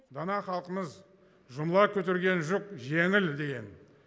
дана халқымыз жұмыла көтерген жүк жеңіл деген